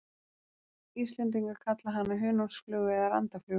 Íslendingar kalla hana hunangsflugu eða randaflugu.